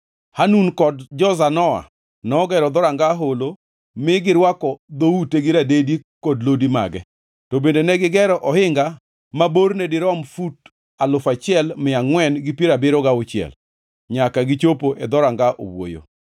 Hanun kod jo-Zanoa nogero Dhoranga Holo ni girwako dhoute gi radedi kod lodi mage, to bende negigero ohinga maborno dirom fut alufu achiel mia angʼwen gi piero abiriyo gauchiel nyaka gichopo e Dhoranga Owuoyo.